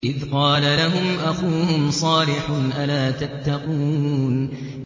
إِذْ قَالَ لَهُمْ أَخُوهُمْ صَالِحٌ أَلَا تَتَّقُونَ